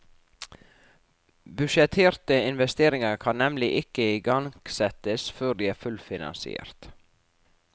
Budsjetterte investeringer kan nemlig ikke igangsettes før de er fullfinansiert.